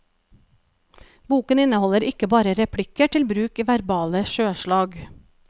Boken inneholder ikke bare replikker til bruk i verbale sjøslag.